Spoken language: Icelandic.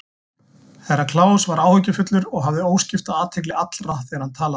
Herra Kláus var áhyggjufullur og hafði óskipta athygli allra þegar hann talaði.